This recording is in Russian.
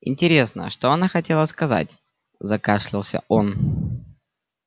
интересно что она хотела сказать закашлялся он